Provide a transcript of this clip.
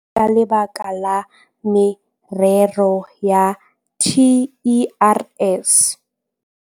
18 ka lebaka la morero wa TERS.